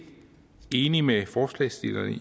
enig med forslagsstillerne i